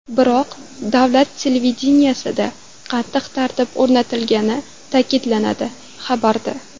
Biroq davlat televideniyesida qattiq tartib o‘rnatilgani ta’kidlanadi, xabarda.